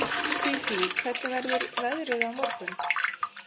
Sísí, hvernig verður veðrið á morgun?